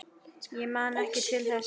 Ég man ekki til þess.